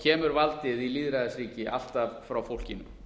kemur valdið í lýðræðisríki alltaf frá fólkinu